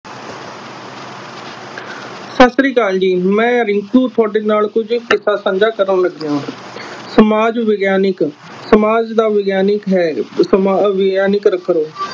ਸਤਿ ਸ਼੍ਰੀ ਅਕਾਲ ਜੀ ਮੈ ਰਿੰਕੂ ਤੁਹਾਡੇ ਨਾਲ ਕੁਝ ਕਿੱਸਾ ਸਾਂਝਾ ਕਰਨ ਲੱਗਿਆ ਹਾਂ ਸਮਾਜ ਵਿਗਿਆਨਿਕ, ਸਮਾਜ ਦਾ ਵਿਗਿਆਨਿਕ ਹੈ ਜੋ